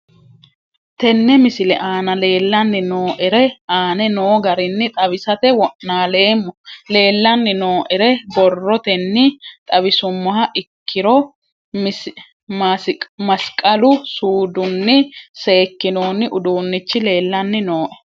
Tene misile aana leelanni nooerre aane noo garinni xawisate wonaaleemmo. Leelanni nooerre borrotenni xawisummoha ikkiro masiqalu suudinni sekinonni uduunichi leelanni nooe.